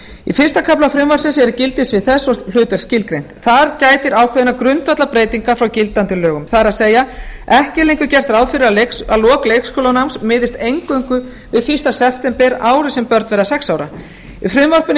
í fyrsta kafla frumvarpsins eru gildissvið þess og hlutverk skilgreind þar gætir ákveðinnar grundvallarbreytingar frá gildandi lögum það er ekki er lengur gert ráð fyrir að lok leikskólanáms miðist eingöngu við fyrsta september árið sem börn verða sex ára í frumvarpinu er